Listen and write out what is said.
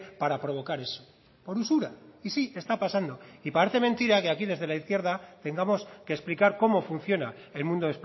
para provocar eso por usura y sí está pasando y parece mentira que aquí desde la izquierda tengamos que explicar cómo funciona el mundo